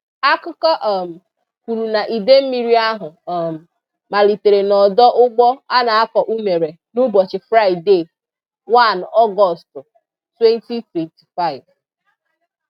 Akụkọ um kwuru na idemmiri ahụ um malitere n'ọdọ ugbo a na-akọ unere n'ụbọchị Fraịde 1 Ọgọst, 2025